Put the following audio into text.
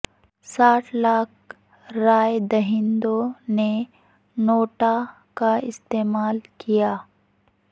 ساٹھ لاکھ رائے دہندوں نے نوٹا کا استعمال کیا